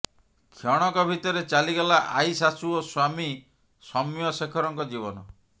କ୍ଷଣକ ଭିତରେ ଚାଲିଗଲା ଆଈ ଶାଶୂ ଓ ସ୍ୱାମୀ ସୌମ୍ୟ ଶେଖରଙ୍କ ଜୀବନ